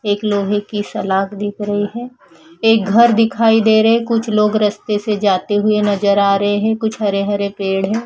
एक लोहे की सलाख दिख रही है एक घर दिखाई दे रहे कुछ लोग रस्ते से जाते नज़र आ रहे हैं हरे भरे पेड़ हैं।